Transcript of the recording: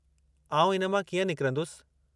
आउं इन मां कीअं निकिरंदुसि?